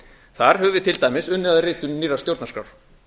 þar höfum við til dæmis unnið að ritun nýrrar stjórnarskrár